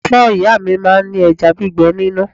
Ẹ̀fọ́ ìyá mi máa ń ní ẹja gbígbé nínú.